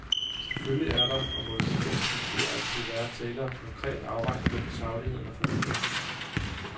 Selvfølgelig er der, og må i sagens natur altid være, tale om en konkret afvejning mellem sagligheden og formidlingen.